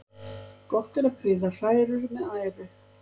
Gott er að prýða hrærur með æru.